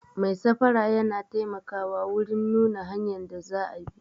Mai safara yana taimakawa wurin nuna hanyan da za a bi